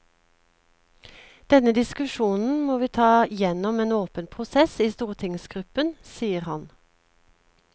Denne diskusjonen må vi ta gjennom en åpen prosess i stortingsgruppen, sier han.